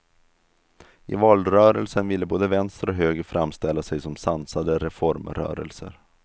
I valrörelsen ville både vänster och höger framställa sig som sansade reformrörelser.